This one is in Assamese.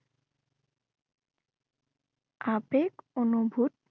আৱেগ অনুভূত